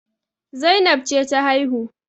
Zainab ce ta haihu